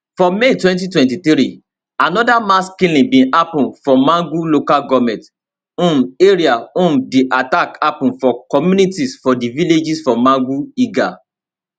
for may 2023 anoda mass killing bin happun for mangu local goment um area um di attack happun for communities for di villages for mangu lga